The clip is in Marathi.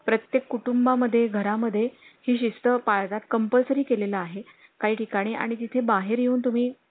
हां मग आमच्या दुकानात या भेट द्यायला दुकानात भेट द्यायला या मग उद्या.